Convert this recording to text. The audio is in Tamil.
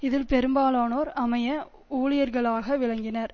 இதில் பெரும்பாலானோர் அமைய ஊழியர்களாக விளங்கினர்